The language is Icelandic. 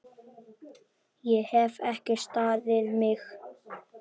Ég hef ekki staðið mig!